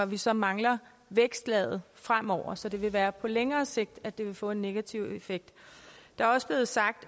vi så mangler vækstlaget fremover så det vil være på længere sigt at det vil få en negativ effekt der er også blevet sagt